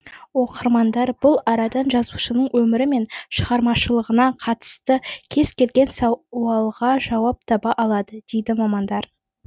оқырмандар бұл арадан жазушының өмірі мен шығармашылығына қатысты кез келген сауалға жауап таба алады дейді мамандар